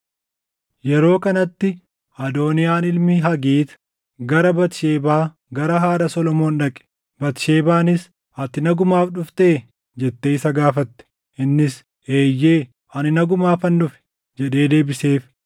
Yeroo kanatti Adooniyaan ilmi Hagiit gara Batisheebaa gara haadha Solomoon dhaqe. Batisheebaanis, “Ati nagumaaf dhuftee?” jettee isa gaafatte. Innis, “Eeyyee ani nagumaafan dhufe” jedhee deebiseef;